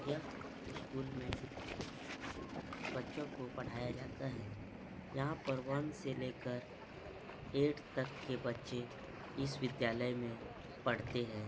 यह उसकूल मे बच्चों को पढ़ाया जाता है यहाँ पर वन से लेकर ऐट तक के बच्चे इस विद्यालय में पढ़ते है।